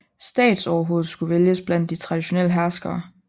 Statsoverhovedet skulle vælges blandt de traditionelle herskere